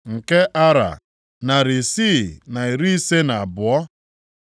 nke Ara, narị isii na iri ise na abụọ (652),